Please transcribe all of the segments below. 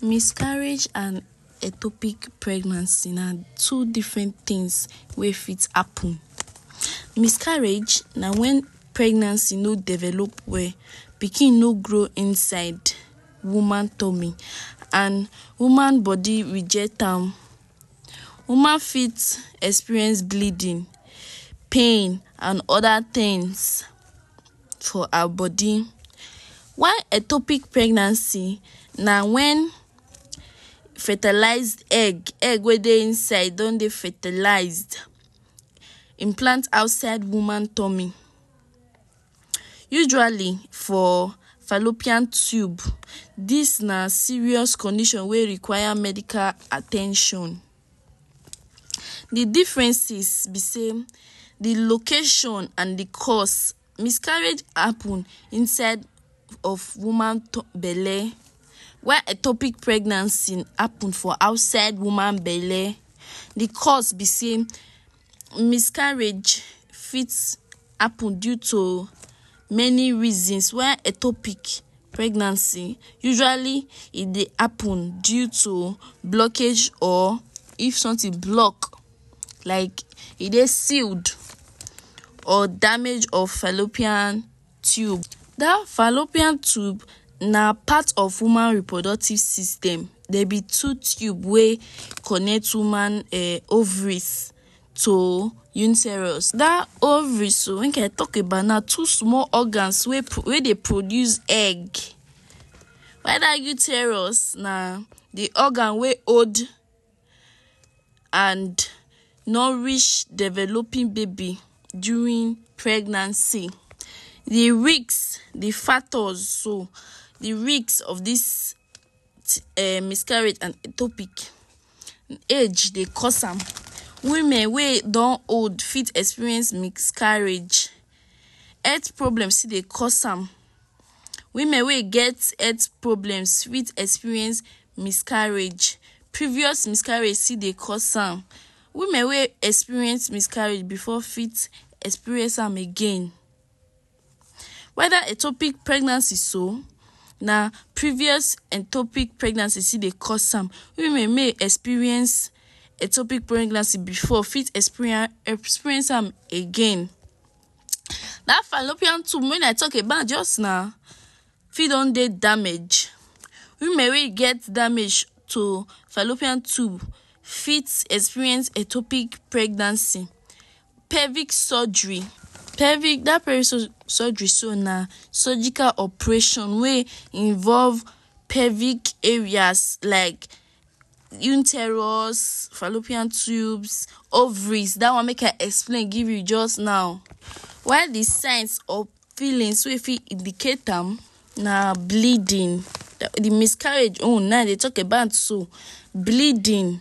Miscarriage and etopic pregnancy na two different things wey fit happen. Miscarriage na wen pregnancy no develop well, pikin no grow inside woman tummy and woman body reject am. Woman fit experience bleeding, pain and other things for her body. While ectopic pregnancy na wen fertilized egg; egg wey dey inside don dey fertilized, im plant outside woman tummy, usually for fallopian tube. Dis na serious condition wey require medical at ten tion. De differences be sey de location and de cause. Miscarriage happen inside of woman belle while ectopic pregnancy happen for outside woman belle. De cause be sey miscarriage fit happen due to many reasons while ectopic pregnancy usually e dey happen due to blockage or if something block like e dey sealed or damage of fallopian tube. Dat fallopian tube na part of woman reproductive system. Dey be two tube wey connect woman um ovaries to uterus. Dat ovaries so make I talk about; na two small organs wey wey dey produce egg while dat uterus na de organ wey hold and nourish developing baby during pregnancy. De risk, de factors so. De risk of dis um miscarriage and ectopic; age dey cause am. Women wey don old fit experience miscarriage. Health problem still dey cause am, women wey e get health problems fit experience miscarriage. Previous miscarriage still dey cause am, women wey experience miscarriage before fit experience am again. While dat ectopic pregnancy so, na previous ectopic pregnancy still dey cause am. Women mey e experience ectopic pregnancy before fit experience am again. Dat fallopian tube wey I talk about just now, fit don dey damage. Women wey e get damage to fallopian tube fit experience ectopic pregnancy. Pelvic surgery; dat pelvic surgery so na surgical operation wey involve pelvic areas like uterus, fallopian tubes, ovaries; dat one make I explain give you just now. While de signs or feelings wey you fit indicate am na bleeding. De miscarriage own na im we day talk about so. Bleeding;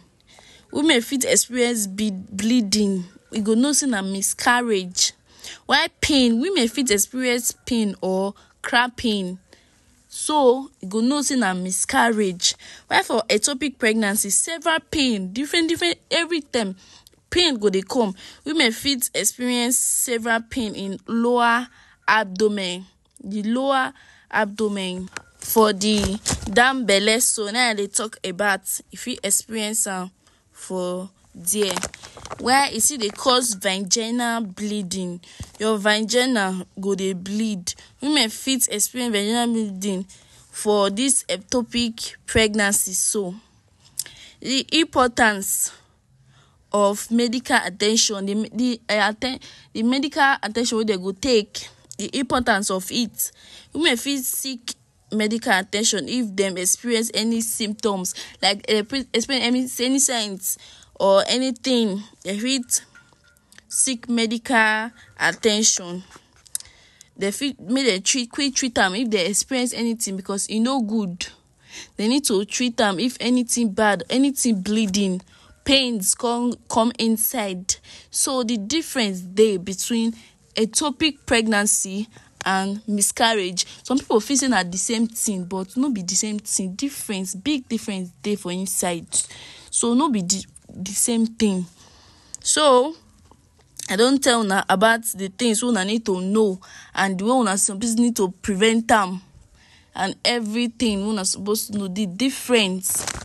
women fit experience bleeding, you go know sey na miscarriage while pain, women fit experience pain or crapping, so you go know sey na miscarriage. While for ectopic pregnancy, several pain, different different, everytime pain go dey come. Women fit experience several pain in lower abdomen, de lower abdomen for de down belle so, na im I dey talk about. E fit experience am for there. While it still dey cause vaginal bleeding; your vagina go dey bleed. Women fit experience vaginal bleeding for dis ectopic pregnancy so. De importance of medical at ten tion, de medical at ten tion wey dey go take, de importance of it. Women fit seek medical at ten tion if dem experience any symptoms like any signs or anything, dey fit seek medical at ten tion. Dem fit make dem treat quick treat am if dey experience anything because e no good. Dey need to treat am if anything bad, anything bleeding, pains con come inside. So de difference dey between ectopic pregnancy and miscarriage. Some pipu feel sey na de same thing but no be de same thing, difference big difference dey for inside. So no be de de same thing. So, I don tell una about de things wey una need to know and de one wey una need to prevent am and everything wey una suppose to, de difference.